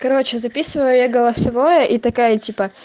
короче записываю я голосовое и такая типа